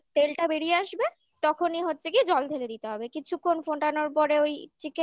যখন তেলটা বেরিয়ে আসবে তখনই হচ্ছে গিয়ে জল ঢেলে দিতে হবে কিছুক্ষণ ফোটানোর পরে ওই